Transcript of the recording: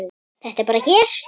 Þetta er bara hér.